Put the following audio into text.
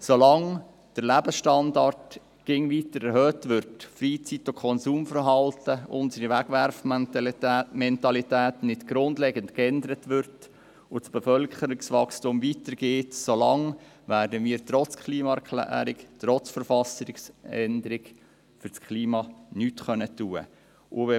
Solange der Lebensstandard immer weiter erhöht wird, unser Freizeit- und Konsumverhalten und unsere Wegwerfmentalität nicht grundlegend geändert werden und das Bevölkerungswachstum weitergeht, werden wir trotz Klimaerklärung und trotz Verfassungsänderung nichts für das Klima tun können.